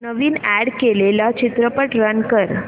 नवीन add केलेला चित्रपट run कर